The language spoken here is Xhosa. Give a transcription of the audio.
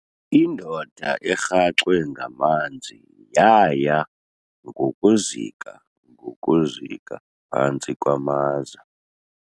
Indoda erhaxwe ngamanzi yaya ngokuzika ngokuzika phantsi kwamaza.